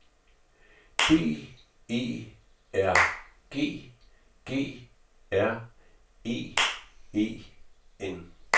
B E R G G R E E N